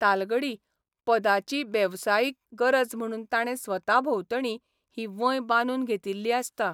तालगडी पदाची बेवसायीक गरज म्हणून ताणे स्वता भोंवतणी ही वंय बांदून घेतिल्ली आसता.